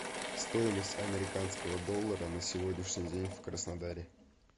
стоимость американского доллара на сегодняшний день в краснодаре